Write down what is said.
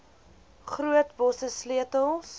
groot bosse sleutels